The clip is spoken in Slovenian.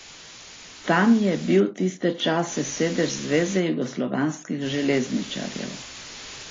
Tam je bil tiste čase sedež Zveze jugoslovanskih železničarjev.